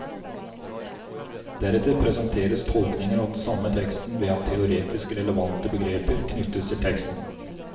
Deretter presenteres tolkninger av den samme teksten ved at teoretisk relevante begreper knyttes til teksten.